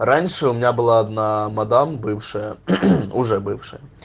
раньше у меня была одна мадам бывшая уже бывшая